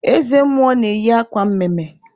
Eze mmụọ na-eyi akwa mme mme.